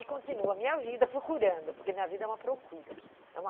E continuo a minha vida procurando, porque minha vida é uma procura, é uma